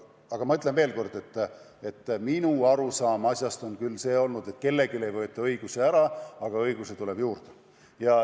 Aga ma ütlen veel kord, et minu arusaam asjast on küll olnud see, et kelleltki ei võeta õigusi ära, vaid õigusi tuleb juurde.